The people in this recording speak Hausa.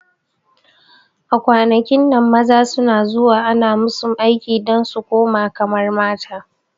A kwanakin nan maza suna zuwa ana musu aiki dan su kuma kamar mata